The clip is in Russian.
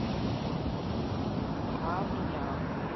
ам ням